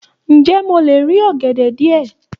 Ǹjẹ́ mo lè rí ọ̀gẹ̀dẹ̀ díẹ̀?